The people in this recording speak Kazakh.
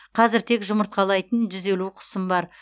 қазір тек жұмыртқалайтын жүз елу құсым бар